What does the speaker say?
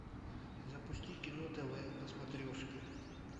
запусти кино тв на смотрешке